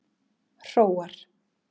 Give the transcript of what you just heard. Hróar